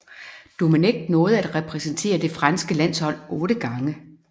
Domenech nåede at repræsentere det franske landshold otte gange